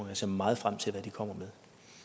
jeg ser meget frem til hvad den kommer med